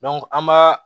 an b'a